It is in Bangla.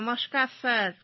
নমস্কার স্যার